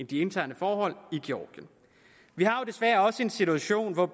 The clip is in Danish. de interne forhold i georgien vi har jo desværre også en situation hvor